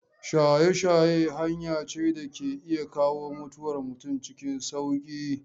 Shaye-shaye hanya ce da ke iya kawo mutuwar mutum cikin sauƙi.